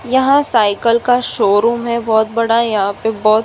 यहाँ साइकल का शोरूम है बोहोत बड़ा। यहाँ पे बोत --